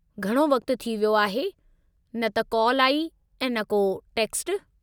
घणो वक़्ति थी वियो आहे, न त कॉल आई ऐं न को टेक्स्टु।